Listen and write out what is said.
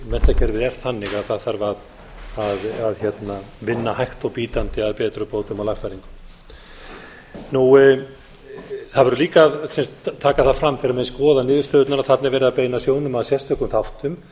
menntakerfið er þannig að það þarf að vinna hægt og bítandi að betrumbótum og lagfæringum það verður líka að taka það fram þegar menn skoða niðurstöðurnar að þarna er verið að beina sjónum að sérstökum þáttum